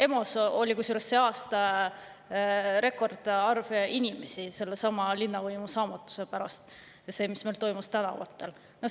EMO‑s oli sel aastal rekordarv inimesi sellesama linnavõimu saamatuse pärast, selle pärast, mis meil toimus tänavatel.